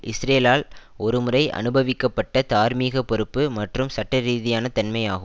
இஸ்ரேலால் ஒருமுறை அனுபவிக்கப்பட்ட தார்மீக பொறுப்பு மற்றும் சட்டரீதியான தன்மை ஆகும்